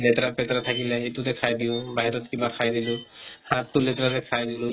লেতেৰা পেতেৰা থাকিলে সিইটোতে খাই দিওঁ, বাহিৰত কিবা খাই দিলো। হাত তো লেতেৰা কে খাই দিলো।